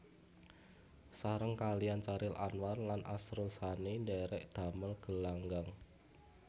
Sareng kaliyan Chairil Anwar lan Asrul Sani ndhèrèk damel Gelanggang